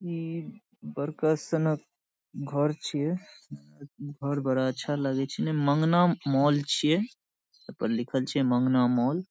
ई बड़का से ना घर छे। घर बड़ा अच्छा लागे छे। ई मांगना मॉल छिए। ए पर लिखल छे मांगना मॉल ।